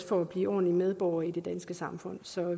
for at blive ordentlige medborgere i det danske samfund så